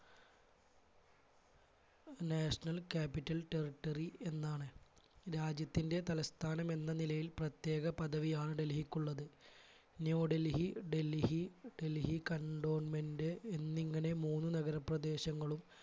national capital territory എന്നാണ്. രാജ്യത്തിൻറെ തലസ്ഥാനം എന്ന നിലയിൽ പ്രത്യേക പദവിയാണ് ഡൽഹിയ്ക്കുള്ളത് ന്യൂഡൽഹി, ഡൽഹി, ഡൽഹി cantonment എന്നിങ്ങനെ മൂന്ന് നഗരപ്രദേശങ്ങളും